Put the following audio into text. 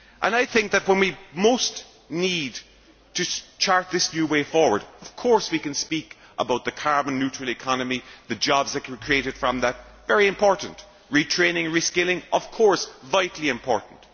I think that, when we most need to chart this new way forward, of course we can speak about the carbon neutral economy, the jobs created from that this is very important as well as retraining and reskilling, which are vitally important.